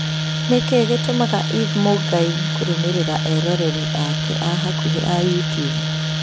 Nĩkĩĩ gĩtũmaga eve mũngai kũrũmĩrĩra eroreri ake a hakuhĩ a YouTUBE